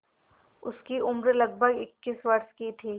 उसकी उम्र लगभग इक्कीस वर्ष की थी